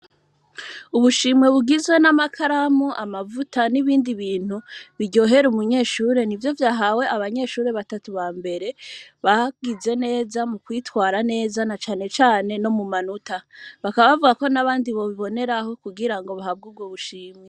Ubushimwe bugizwe n’amakaramu, amavuta n’ibindi bintu, biryohera umunyeshure, nivyo vyahawe abanyeshure batatu bambere bagize neza mu kwitwara neza na cane cane no mu manota. Bakaba bavuga yuko nabandi bobiboneraho kugira ngo baronke ubwo bushimwe.